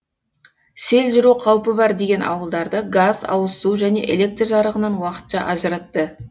сел жүру қаупі бар деген ауылдарды газ ауызсу және электр жарығынан уақытша ажыратты